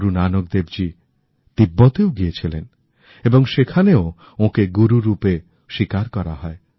গুরুনানক দেবজী তিব্বতেও গিয়েছিলেন এবং সেখানেও ওঁকে গুরু রূপে স্বীকারকরা হয়